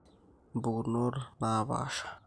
Impukunot naapaasha